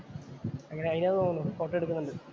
അങ്ങനെ അതിനാന്ന്‍ തോന്നുന്നു ഫോട്ടോ എടുക്കുന്നുണ്ട്.